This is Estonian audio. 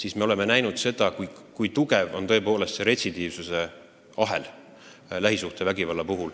Paraku oleme näinud, kui tugev on retsidiivsuse ahel lähisuhtevägivalla puhul.